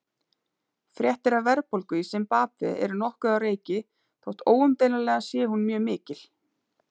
Fréttir af verðbólgu í Simbabve eru nokkuð á reiki þótt óumdeilanlega sé hún mjög mikil.